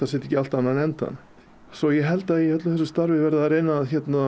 setji ekki allt á annan endann svo ég held að í öllu þessu starfi verði að reyna að